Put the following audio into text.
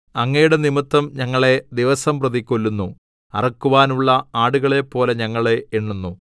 അങ്ങയുടെ നിമിത്തം ഞങ്ങളെ ദിവസംപ്രതി കൊല്ലുന്നു അറുക്കുവാനുള്ള ആടുകളെപ്പോലെ ഞങ്ങളെ എണ്ണുന്നു